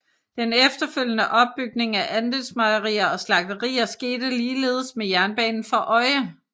Den efterfølgende opbygning af andelsmejerier og slagterier skete ligeledes med jernbanen for øje